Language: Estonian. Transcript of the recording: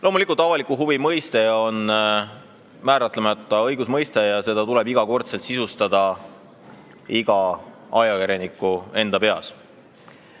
Loomulikult, avalik huvi on määratlemata õigusmõiste ja seda tuleb igal ajakirjanikul iga kord endal sisustada.